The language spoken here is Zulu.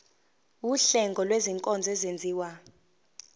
wuhlengo lwezinkonzo ezenziwa